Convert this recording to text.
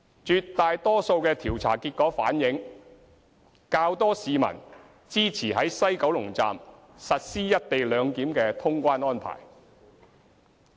絕大多數調查結果反映較多市民支持於西九龍站實施"一地兩檢"的通關安排。